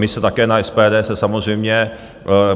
My se také na SPD, se samozřejmě...